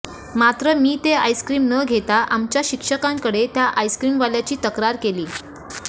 मात्र मी ते आईस्क्रीम न घेता आमच्या शिक्षकांकडे त्या आईस्क्रीमवाल्याची तक्रार केली